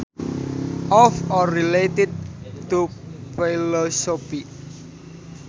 Of or related to philosophy